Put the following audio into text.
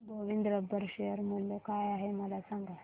Govind rubber share मूल्य काय आहे मला सांगा